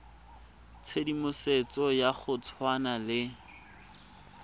tshedimosetso ya go tshwana le